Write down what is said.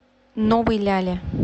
новой ляле